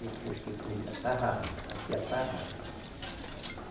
Depois que foi a tarrafa, aqui a tarrafa.